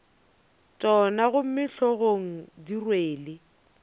tšona gomme hlogong di rwele